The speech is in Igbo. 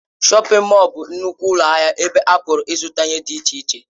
Shọpin Mọll bụ nnukwu ụlọ ahịa ebe a pụrụ ịzụta ihe dị iche iche.